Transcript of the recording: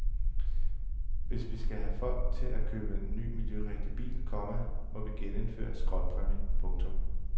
Hvis vi skal have folk til at købe en ny miljørigtig bil, komma må vi genindføre skrotpræmien. punktum